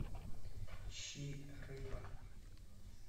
ищи рыба